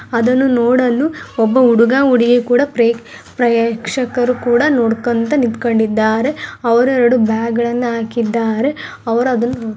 ಅದನ್ನು ನೋಡಲು ಒಬ್ಬ ಹುಡುಗ ಹುಡುಗಿ ಕೂಡ ಪ್ರೇ ಪ್ರೇಕ್ಷಕರು ಕೂಡ ನೊಡ್ಕೊಂತ ನಿಂತುಕೊಂಡಿದ್ದಾರೆ ಅವರು ಎರೆಡು ಬ್ಯಾಗ್ ಗಳನ್ನ ಹಾಕಿದ್ದಾರೆ ಅವರು ಅದನ್ನು --